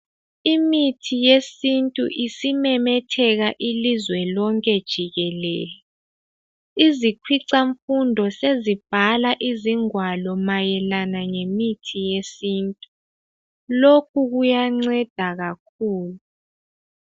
Imithi yesintu isimemetheka ilizwe lonke jikelele. Izikhwicamfundo sezibhala izingwalo mayelana lemithi yesintu. Lokhu kuyanceda kakhulu.